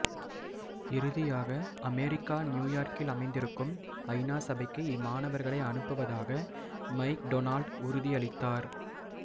இறுதியாக அமெரிக்கா நியூயோர்க்கில் அமைந்திருக்கும் ஐ நா சபைக்கு இம்மாணவர்களை அனுப்புவதாக மைக் டொனால்ட் உறுதியளித்தார்